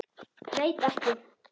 Veit ekki.